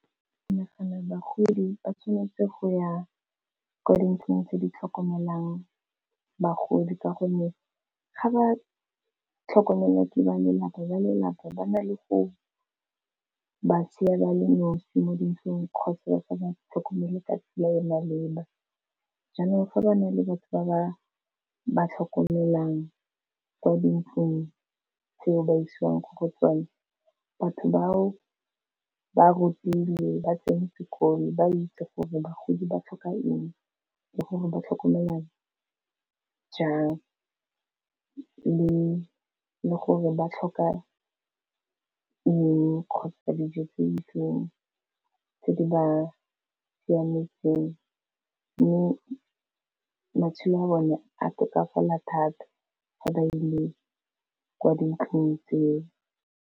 Ke nagana bagodi ba tshwanetse go ya ko dintlong tse di tlhokomelang bagodi ka gonne ga ba tlhokomele ke ba lelapa, ba lelapa ba na le go ba sia ba le nosi mo dintlong kgotsa ba sa ba tlhokomele ka tsela ya maleba, jaanong fa ba na le batho ba ba tlhokomelang kwa dintlong tseo ba isiwang gore tsone, batho bao ba rutilwe ba tsene sekolo, ba itse gore bagodi ba tlhoka eng, le gore ba tlhokomela jang, le gore ba tlhoka eng kgotsa dijo tse di itseng tse di ba siametseng, mme matshelo a bone a tokafala thata ga ba ile kwa dintlong tseo.